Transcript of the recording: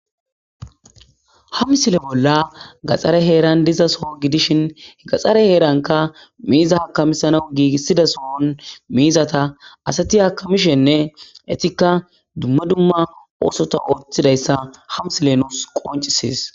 Ha misile bola gaxare heran diza so gidishn gaxare heranka miza akamisanaw gigida sohon mizata asati akamisishenne etaka dumma dumma oothota oothidaysa ha misiley nuusi qoncises.